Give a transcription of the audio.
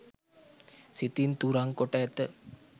සිතින් තුරන් කොට ඇත.